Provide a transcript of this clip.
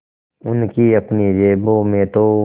उनकी अपनी जेबों में तो